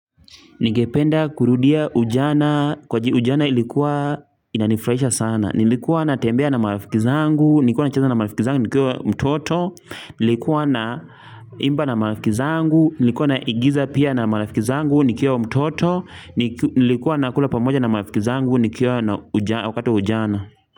Ningependa kurudia ujana kwani ujana ilikuwa inanifurahisha sana. Nilikuwa natembea na marafiki zangu, nilikua nacheza na marafiki zangu, nikiwa mtoto, nilikuwa naimba na marafiki zangu, nilikuwa naigiza pia na marafiki zangu, nikiwa mtoto, nilikuwa nakula pamoja na marafiki zangu, nikiwa na wakati wa ujana.